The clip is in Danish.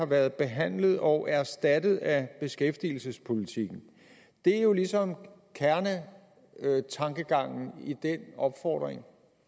været behandlet og erstattet af beskæftigelsespolitikken det er jo ligesom kernetankegangen i den opfordring